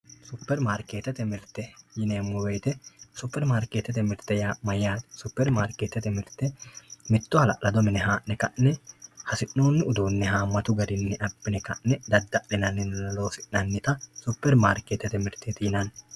Supermarketete mirte yinemo woyite super marketete mirte yaa mayate supermarketete mirte mitto halalado mine haa`ne ka`ne hasinoni uduune haamatu garini abine ka`ne dadalinani loosinanita super marketete mirte yinani.